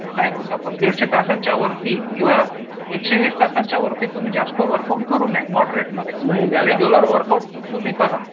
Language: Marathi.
काय बोलतो आपण दीडशे तासांच्या वरती किंवा एकशे वीस तासांच्या वरती तुम्ही जास्त वर्कआउट करू नये मॉडरेटमध्ये रेग्युलर वर्क आउट करा